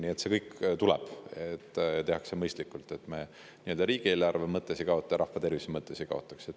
Nii et see kõik tuleb, aga seda tehakse mõistlikult, et me riigieelarve mõttes ei kaotaks ja rahva tervise mõttes ei kaotaks.